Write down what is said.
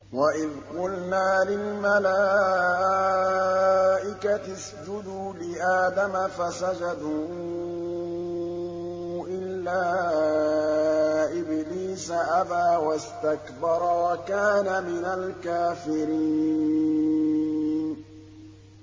وَإِذْ قُلْنَا لِلْمَلَائِكَةِ اسْجُدُوا لِآدَمَ فَسَجَدُوا إِلَّا إِبْلِيسَ أَبَىٰ وَاسْتَكْبَرَ وَكَانَ مِنَ الْكَافِرِينَ